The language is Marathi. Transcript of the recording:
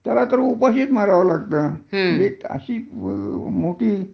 त्याला तर उपाशीच मराव लागत अशी मोठी